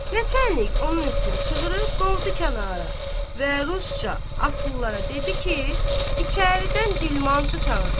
Neçə enlik onun üstünə çığırıb qovdu kənara və rusca atlılara dedi ki, içəridən dilmancı çağırsınlar.